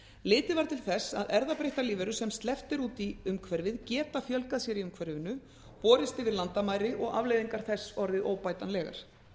litið var til þess að erfðabreyttar lífverur sem sleppt er út í umhverfið geta fjölgað sér í umhverfinu borist yfir landamæri og afleiðingar þess orðið óbætanlegar